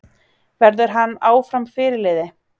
Verður hann áfram fyrirliði?